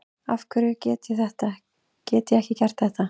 afhverju get ég ekki gert þetta